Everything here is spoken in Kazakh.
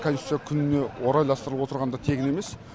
конституция күніне орайластырылып отырғаны да тегін емес